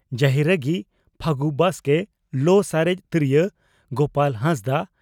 ᱡᱟᱦᱤᱨᱟᱺᱜᱤ (ᱯᱷᱟᱹᱜᱩ ᱵᱟᱥᱠᱮ) ᱞᱚ ᱥᱟᱨᱮᱡ ᱛᱚᱨᱭᱳ (ᱜᱳᱯᱟᱞ ᱦᱟᱸᱥᱫᱟᱜ)